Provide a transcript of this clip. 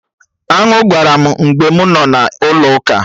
Aṅụ gbara m mgbe mụ nọ na Ụlọ ụka